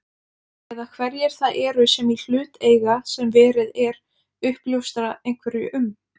Eða hverjir það eru sem í hlut eiga sem verið er uppljóstra einhverju um?